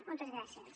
moltes gràcies